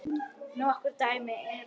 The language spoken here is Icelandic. Nokkur dæmi eru